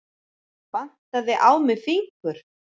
Vantaði á mig fingur?